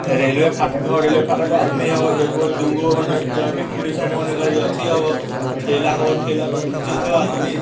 रेलवे फाटक हवा रेलवे फाटक पर आदमी हवा | एगो दुगो ट्रैफिक पुलिस हवा | ओने खली अथी हवा ठेला हवा और ठेला पर घीचित हवा आदमी --